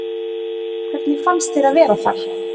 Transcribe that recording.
Hvernig fannst þér að vera þar?